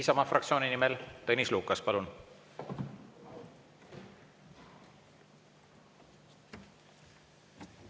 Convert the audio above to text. Isamaa fraktsiooni nimel Tõnis Lukas, palun!